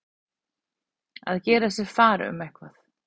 Að gera sér far um eitthvað